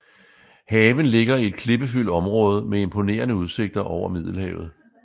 Haven ligger i et klippefyldt onråde med imponerende udsigter over Middelhavet